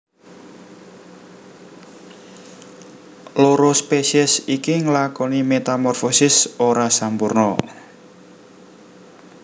Loro spesies iki nglakoni metamorfosis ora sampurna